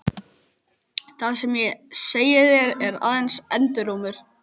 Það sem ég segi þér er aðeins endurómur þess.